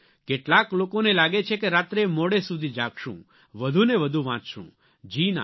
કેટલાક લોકોને લાગે છે કે રાત્રે મોડે સુધી જાગશું વધુને વધુ વાંચશું જી ના